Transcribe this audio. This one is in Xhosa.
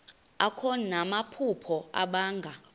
akho namaphupha abanga